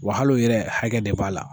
Wa hal'o yɛrɛ hakɛ de b'a la.